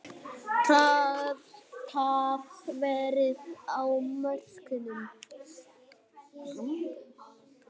Traðkað verið á mörkum.